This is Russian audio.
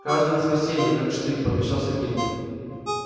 каждое воскресенье как штык пообещал сергей